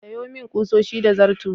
Sayo min ƙusoshi da zarto.